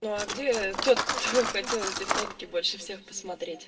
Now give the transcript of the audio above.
ну а где тот кто хотел эти фотки больше всех посмотреть